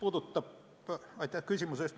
Aitäh küsimuse eest!